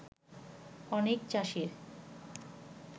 অনেক চাষীর